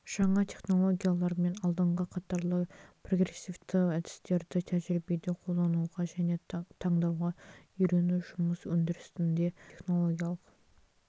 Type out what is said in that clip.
жаңа технологиялар мен алдыңғы қатарлы прогрессивті әдістерді тәжірибеде қолдануға және таңдауға үйрету жұмыс өндірісінде технологиялық